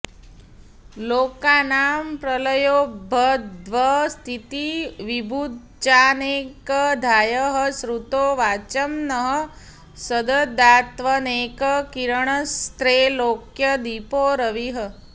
लोकानां प्रलयोद्भवस्थिति विभुश्चानेकधायः श्रुतौ वाचं नः सददात्वनेक किरणस्त्रैलोक्यदीपो रविः